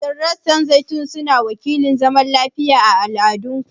Shin rassan zaitun suna wakiltar zaman lafiya a cikin al'adunku?